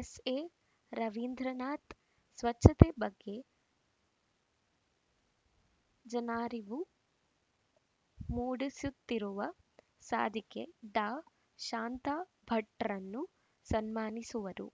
S A Ravindranath ಸ್ವಚ್ಛತೆ ಬಗ್ಗೆ ಜನಾರಿವು ಮೂಡಿಸುತ್ತಿರುವ ಸಾಧಕಿ ಡಾಶಾಂತಾ ಭಟ್‌ರನ್ನು ಸನ್ಮಾನಿಸುವರು